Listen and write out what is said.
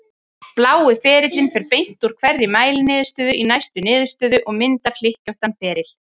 Blái ferillinn fer beint úr hverri mæliniðurstöðu í næstu niðurstöðu og myndar hlykkjóttan feril.